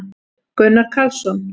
gunnar karlsson